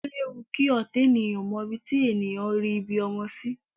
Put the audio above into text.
O léwu kí ọ̀tá ènìyàn mọ ibi tí ènìyàn rí ibi ọmọ sí